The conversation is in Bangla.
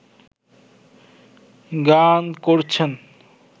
গান করছেন